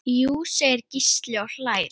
Jú segir Gísli og hlær.